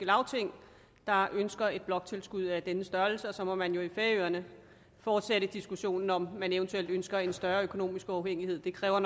lagting der ønsker et bloktilskud af denne størrelse og så må man jo i færøerne fortsætte diskussionen om man eventuelt ønsker en større økonomisk uafhængighed det kræver